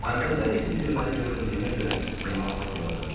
Əvvəllər isə gülməli göründüyümə görə yaman sıxılırdım.